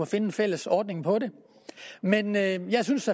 finde en fælles ordning på det men jeg jeg synes